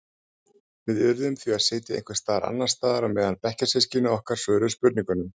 Við urðum því að sitja einhvers staðar annars staðar meðan bekkjarsystkini okkar svöruðu spurningunum.